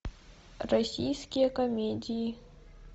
российские комедии